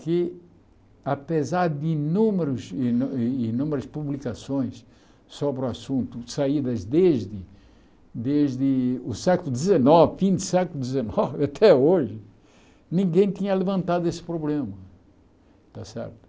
Que apesar de inúmeros inu inu inúmeras publicações sobre o assunto, saídas desde desde o século dezenove, fim do século dezenove até hoje, ninguém tinha levantado esse problema, está certo?